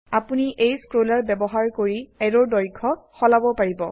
আপোনি এই স্ক্ৰোলাৰ বয়ৱহাৰ কৰি অ্যাৰোৰ দৈৰ্ঘ্য সলাবও পাৰিব